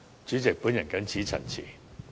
主席，我謹此陳辭。